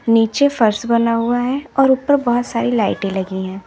नीचे फर्श बना हुआ है और ऊपर बहोत सारी लाइटें लगी है।